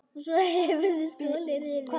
Og svo hefurðu stolið riffli!